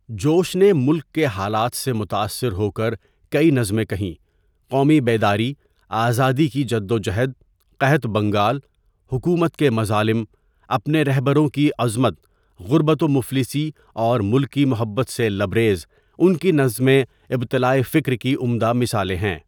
جوش نے ملک کے حالات سے متاثر ہوکر کئی نظمیں کہی قومی بیداری، آزادی کی جدوجہد ، قحط بنگال، حکومت کے مظالم، اپنے رہبروں کی عظمت، غربت و مفلسی اور ملکی محبت سے لبریز ان کی نظمیں ابتلاءفکر کی عمدہ مثالیں ہیں.